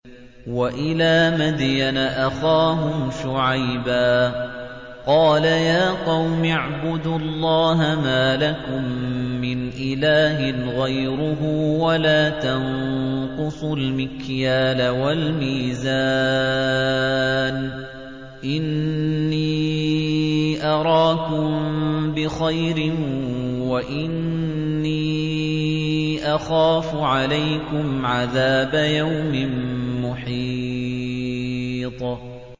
۞ وَإِلَىٰ مَدْيَنَ أَخَاهُمْ شُعَيْبًا ۚ قَالَ يَا قَوْمِ اعْبُدُوا اللَّهَ مَا لَكُم مِّنْ إِلَٰهٍ غَيْرُهُ ۖ وَلَا تَنقُصُوا الْمِكْيَالَ وَالْمِيزَانَ ۚ إِنِّي أَرَاكُم بِخَيْرٍ وَإِنِّي أَخَافُ عَلَيْكُمْ عَذَابَ يَوْمٍ مُّحِيطٍ